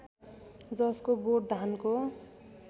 जसको बोट धानको